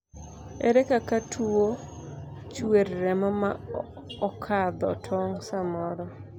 ere kaka tuo chuer remo ma okadho tong' samoro